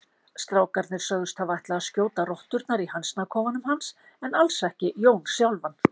Strákarnir sögðust hafa ætlað að skjóta rotturnar í hænsnakofanum hans en alls ekki Jón sjálfan.